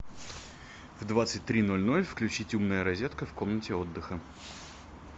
в двадцать три ноль ноль включить умная розетка в комнате отдыха